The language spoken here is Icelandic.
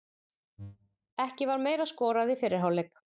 Ekki var meira skorað í fyrri hálfleik.